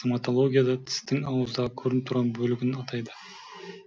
стоматологияда тістің ауыздағы көрініп тұрған бөлігін атайды